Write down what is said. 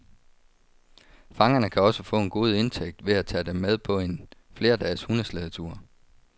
Fangerne kan også få en god indtægt ved at tage dem med på en flerdages hundeslædetur.